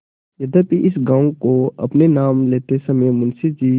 यद्यपि इस गॉँव को अपने नाम लेते समय मुंशी जी